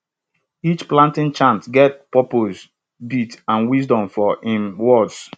each planting chant get purpose beat and wisdom for im words